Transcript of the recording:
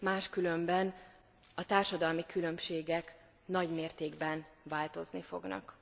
Máskülönben a társadalmi különbségek nagy mértékben változni fognak.